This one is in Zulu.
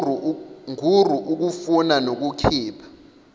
ngur ukufuna nokukhipha